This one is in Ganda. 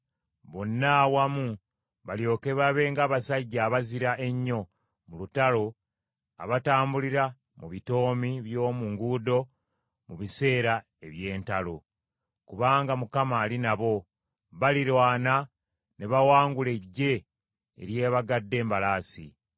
Bonna awamu balyoke babe ng’abasajja abazira ennyo mu lutalo abatambulira mu bitoomi by’omu nguudo mu biseera eby’entalo. Kubanga Mukama ali nabo, balirwana ne bawangula eggye eryebagadde embalaasi.